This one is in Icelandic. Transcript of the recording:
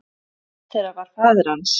Einn þeirra var faðir hans.